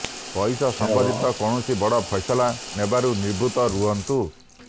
ପଇସା ସମ୍ବନ୍ଧିତ କୌଣସି ବଡ଼ ଫଇସଲା ନେବାରୁ ନିବୃତ୍ତ ରହନ୍ତୁ